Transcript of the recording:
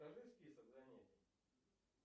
покажи список занятий